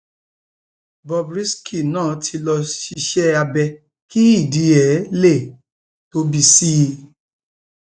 bob risky náà ti lọọ ṣiṣẹ abẹ kí ìdí ẹ lè tóbi sí i